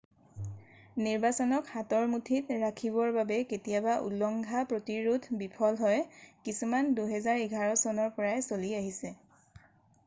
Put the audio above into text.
নিৰ্বাচনক হাতৰ মুঠিত ৰাখিবৰ বাবে কেতিয়াবা উলঙ্ঘা প্ৰতিৰোধ বিফল হয় কিছুমান 2011 চনৰ পৰাই চলি আছে